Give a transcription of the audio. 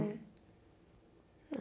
Né Não.